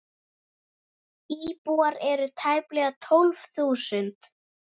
Íbúar eru tæplega tólf þúsund.